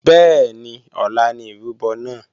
Bẹ́ẹ̀ni ọ̀la ni ìrúbọ náà